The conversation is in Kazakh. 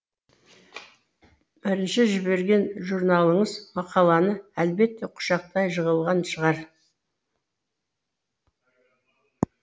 бірінші жіберген журналыңыз мақаланы әлбетте құшақтай жығылған шығар